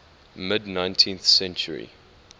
mid nineteenth century